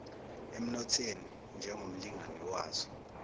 emnothweni njengomlingani wazo